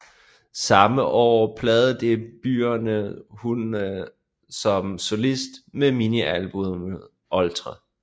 Samme år pladedebutereden hun som solist med minialbummet Oltre